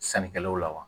Sannikɛlaw la wa